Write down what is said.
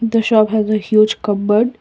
the shop has a huge cupboard.